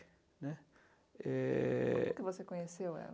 né. É... Como é que você conheceu ela?